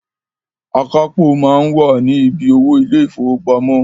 Akápò máa ń wà ni bí owó ilé ìfowópamọ́